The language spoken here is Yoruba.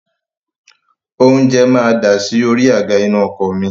Oúnjẹ máa dasi orí àga inú ọkọ̀ mi